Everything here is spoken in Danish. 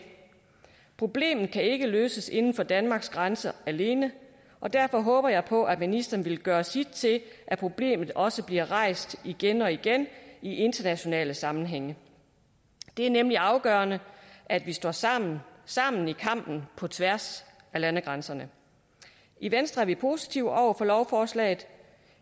problemet kan ikke løses inden for danmarks grænser alene og derfor håber jeg på at ministeren vil gøre sit til at problemet også bliver rejst igen og igen i internationale sammenhænge det er nemlig afgørende at vi står sammen sammen i kampen på tværs af landegrænserne i venstre er vi positive over for lovforslaget